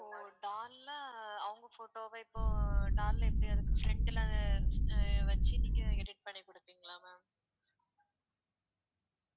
ஓ doll ஆ அவுங்க photo வ இப்போ doll ல எப்படி அதுக்கு front ல அஹ் வச்சு நீங்க edit பண்ணி கொடுப்பீங்களா ma'am